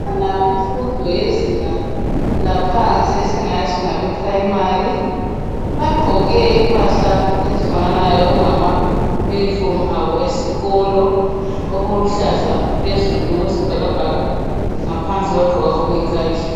Ngabemfundo yezinga laphansi esingathi ngabe Primary, bagqoke impahla ezifananayo, okungama uniform abo esikolo, okuluhlaza phezulu okwesibhakabhaka ngaphansi bagqoke okuyi khakhi.